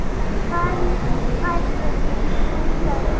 Fermd verða þrjú börn.